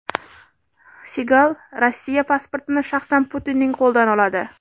Sigal Rossiya pasportini shaxsan Putinning qo‘lidan oladi.